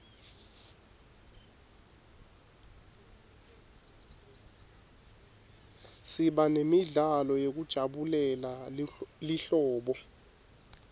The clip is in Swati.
siba nemidlalo yekujabulela lihlobo